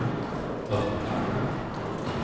öppna